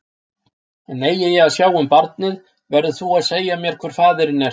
En eigi ég að sjá um barnið, verður þú að segja mér hver faðirinn er.